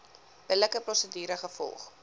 billike prosedure gevolg